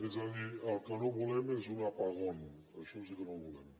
és a dir el que no volem és un apagón això sí que no ho volem